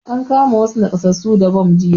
An kama wassu nakasassu da bam jiya